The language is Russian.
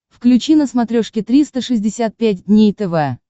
включи на смотрешке триста шестьдесят пять дней тв